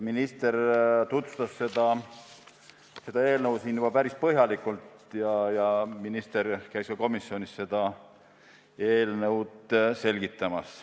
Minister tutvustas seda eelnõu siin juba päris põhjalikult ja ta tegi seda ka komisjonis.